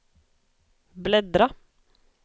bläddra